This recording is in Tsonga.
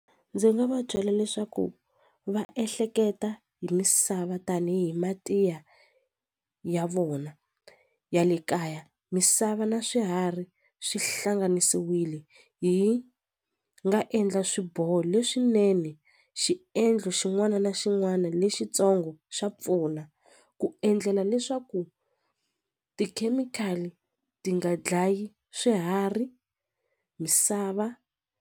Ndzi nga va byela leswaku va ehleketa hi misava tanihi mati ya ya vona ya le kaya misava na swiharhi swi hlanganisiwile hi nga endla swiboho leswinene xiendlo xin'wana na xin'wana lexitsongo xa pfuna ku endlela leswaku tikhemikhali ti nga dlayi swiharhi misava.